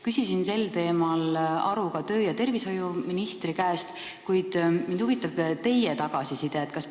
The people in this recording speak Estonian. Küsisin sel teemal ka tervise- ja tööministri käest, kuid mind huvitab teie arvamus.